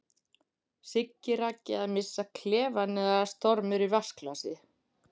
Siggi Raggi að missa klefann eða stormur í vatnsglasi?